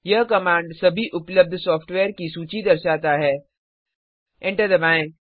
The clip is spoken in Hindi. यह कमांड सभी उपलब्ध सॉफ्टवेयर की सूची दर्शाता है एंटर दबाएं